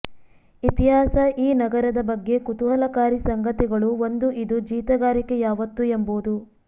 ಇತಿಹಾಸ ಈ ನಗರದ ಬಗ್ಗೆ ಕುತೂಹಲಕಾರಿ ಸಂಗತಿಗಳು ಒಂದು ಇದು ಜೀತಗಾರಿಕೆ ಯಾವತ್ತು ಎಂಬುದು